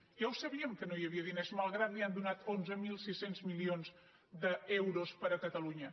ja ho sabíem que no hi havia diners malgrat que li han donat onze mil sis cents milions d’euros per catalunya